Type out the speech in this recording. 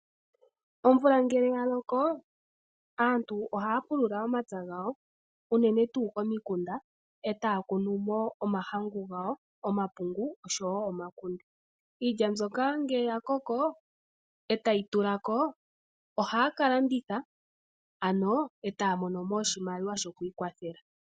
Omvula ngele yaloko aantu ohaya pulula omapya gawo unene tuu omikunda, eta ya kunumo omahangu gawo, omakunde oshowo omakunde. Iilya mbyoka ngele yakoko , etayi tulako, ohaya kalanditha ano etaya mono mo oshimaliwa shokwiikwathela.